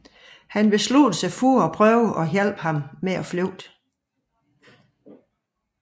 Hun beslutter sig at prøve at hjælpe ham med at flygte